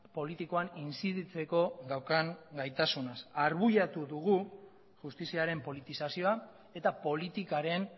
politikoan inziditzeko daukan gaitasunaz arbuiatu dugu justiziaren politizazioa eta politikaren